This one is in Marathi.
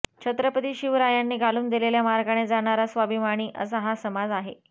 छत्रपती शिवरायांनी घालून दिलेल्या मार्गाने जगणारा स्वाभिमानी असा हा समाज आहे